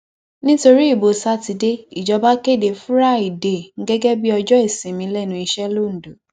nítorí ìbò sátidé ìjọba kéde fúrádéé gẹgẹ bíi ọjọ ìsinmi lẹnu iṣẹ londo